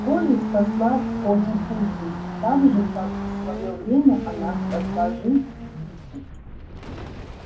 колли спасла конюху жизнь так же как в своё время она спасла жизнь дику